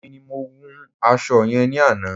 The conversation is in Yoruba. Èmi ni mo wun aṣọ yẹn ní àná.